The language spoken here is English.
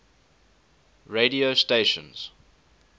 radio stations